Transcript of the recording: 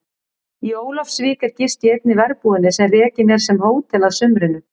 Í Ólafsvík er gist í einni verbúðinni sem rekin er sem hótel að sumrinu.